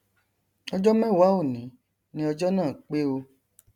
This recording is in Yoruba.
ọjọ mẹwàá òní ni ọjọ náà pé o